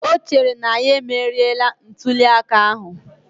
O chere na ya emeriela ntuliaka ahụ